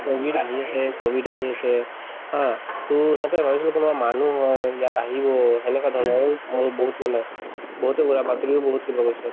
covid আহি আছে covid আহি আছে to সিহঁতে ভাবিছিলে কোনোবা মানুহ হয় ইয়াত আহিব সেনেকুৱা ধৰণৰ আৰু মই বহুত মানে বহুতে উৰা বাতৰিও বহুত কিবা কৈছে